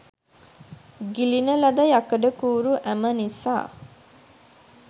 ගිලින ලද යකඩකූරු ඇම නිසා